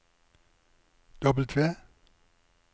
W